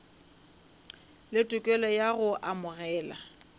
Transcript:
le tokelo ya go amogela